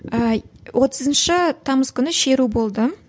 ііі отызыншы тамыз күні шеру болды